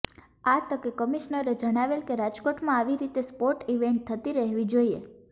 આ તકે કમિશ્નરે જણાવેલ કે રાજકોટમાં આવી રીતે સ્પોટ ઈવેન્ટ થતી રહેવી જોઈએ